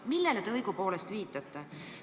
Millele te õigupoolest viitate?